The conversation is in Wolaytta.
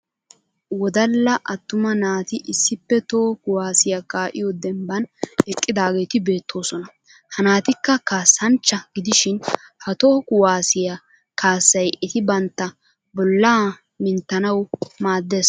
Wodalla attuma naati issippe toho kuwaasiya kaa'iyo dembban eqqidaageeti beettoosona. Ha naatikka kaassanchcha gidishin ha toho kuwaasiya kaassay eti bantta bollaa minttanawu maaddes.